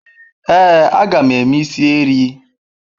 Ee, a ga m eme is erii.